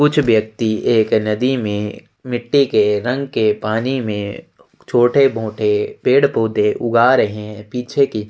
कुछ व्यक्ति एक नदी में मिट्टी के रंग के पानी में छोटे मोटे पेड़ पौधे ऊगा रहे है पीछे की --